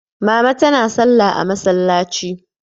Mama tana salla a masallaci.